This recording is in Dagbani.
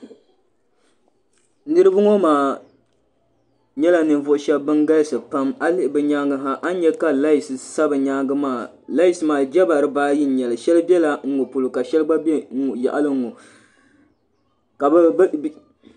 Niriba ŋɔ maa nyɛla ninvuɣu shɛba ban galisi pam a lihi bi nyaanga ha a nya laayis sa bi nyaanga maa laayis maa jaba dibaa ayi shɛli bɛla n ŋɔ polo ka shɛli gba bɛ yaɣali n ŋɔ ka bi.